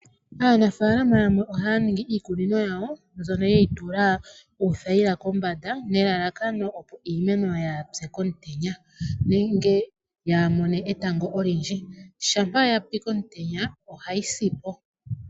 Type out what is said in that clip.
Aanafaalama yamwe ohaya ningi iikunino yawo mbyono yeyi tula uuthayila kombanda nelalakano opo iimeno yaapye komutenya nenge yaamone etango olindji, shampa yapi komutenya ohayi sipo.